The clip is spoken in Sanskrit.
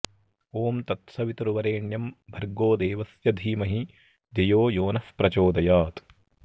ॐ तत्सवितुर्वरेण्यं भर्गोदेवस्य धीमही धियो यो नः प्रचोदयात्